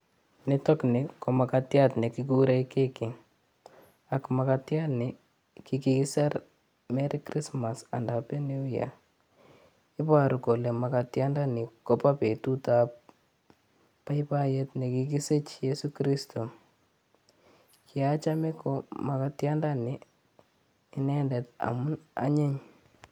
Niitokni ko magatiat nekigure keki ak mugatiatni kigiser merry christmas and happy new year iboru kole magatianda ni kobo beetut ap boboiyet nekigisich cheiso kristo. kieachame ko magatianda ni indendet amu anyiny